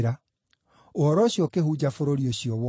Ũhoro ũcio ũkĩhunja bũrũri ũcio wothe.